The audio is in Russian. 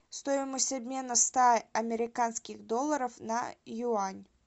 стоимость обмена ста американских долларов на юань